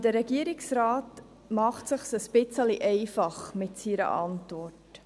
Der Regierungsrat macht es sich mit seiner Antwort etwas einfach.